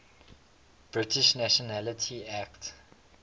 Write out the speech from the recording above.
british nationality act